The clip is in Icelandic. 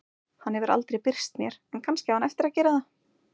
Hann hefur aldrei birst mér en kannski á hann eftir að gera það.